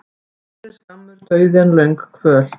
Betri er skammur dauði en löng kvöl.